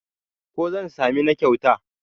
ko zan sami na kyauta?